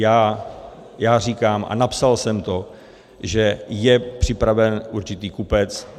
Já říkám, a napsal jsem to, že je připraven určitý kupec.